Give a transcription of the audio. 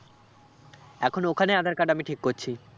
এখন ওখানে আঁধার card আমি ঠিক করছি